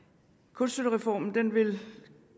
kunststøttereformen vil